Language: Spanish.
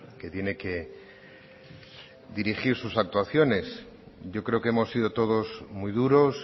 que tiene que dirigir sus actuaciones yo creo que hemos sido todos muy duros